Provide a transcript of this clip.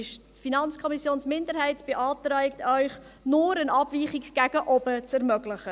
Die FiKo-Minderheit beantragt Ihnen, nur eine Abweichung gegen oben zu ermöglichen.